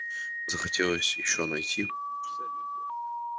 захотелось ещё найти